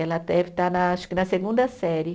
Ela deve estar na acho que na segunda série.